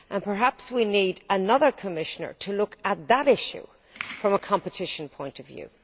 Perhaps we need another Commissioner to look at that issue from a competition point of view.